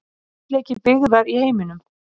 Þéttleiki byggðar í heiminum.